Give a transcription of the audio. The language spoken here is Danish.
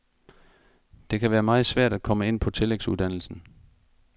Det kan være meget svært at komme ind på tillægsuddannelsen.